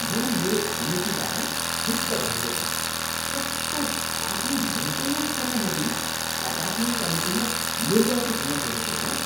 म मेरो छिमेकीबाट क्षुब्ध भएको थिएँ, कस्तो आफ्नो मेन्टेनेन्ससम्म नदिई अपार्टमेन्ट कमिटीमा निर्वाचित हुन खोजेको होला।